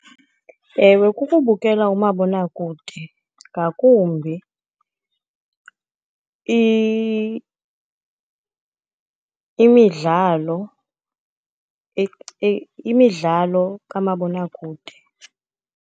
Ewe, kukubukela umabonakude, ngakumbi imidlalo imidlalo kamabonakude.